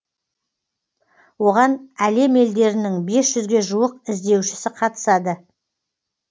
оған әлем елдерінің бес жүзге жуық іздеушісі қатысады